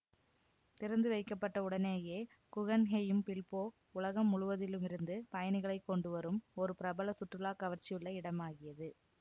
திறந்துவைக்கப்பட்ட உடனேயே Guggenheim Bilbao உலகம் முழுவதிலுமிருந்து பயணிகளை கொண்டுவரும் ஒரு பிரபல சுற்றுலாக் கவர்ச்சியுள்ள இடமாகியது